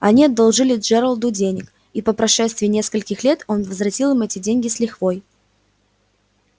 они одолжили джералду денег и по прошествии нескольких лет он возвратил им эти деньги с лихвой